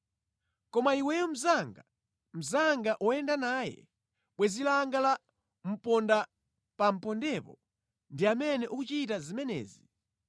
Koma iweyo mnzanga, mnzanga woyenda naye, bwenzi langa la pondaapanʼpondepo, ndi amene ukuchita zimenezi.